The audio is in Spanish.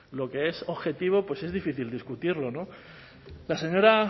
lo que es objetivo pues es difícil discutirlo no la señora